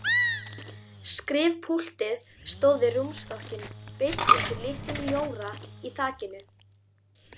Skrifpúltið stóð við rúmstokkinn beint undir litlum ljóra í þakinu.